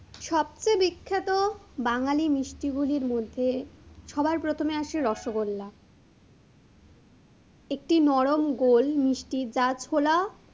সবচেয়ে বিখ্যাত বাঙালী মিষ্টি গুলির মধ্যে, সবার প্রথমে আসে রসগোল্লা, একটি নরম গোল মিষ্টি যা ছোলা,